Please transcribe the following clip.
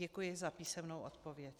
Děkuji za písemnou odpověď.